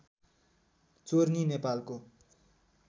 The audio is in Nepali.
चोर्नी नेपालको